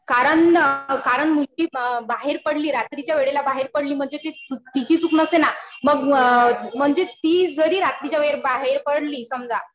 कारण मुलगी बाहेर पडली रात्रीच्या वेळेला बाहेर पडली म्हणजे तिची चूक नसते ना. मग म्हणजे ती जरी रात्रीच्या वेळेला बाहेर पडली समजा